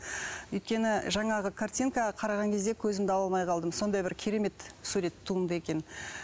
өйткені жаңағы картинка қараған кезде көзімді ала алмай қалдым сондай бір керемет сурет туынды екен